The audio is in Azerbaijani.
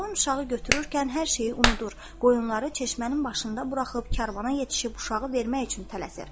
Çoban uşağı götürərkən hər şeyi unudur, qoyunları çeşmənin başında buraxıb karvana yetişib uşağı vermək üçün tələsir.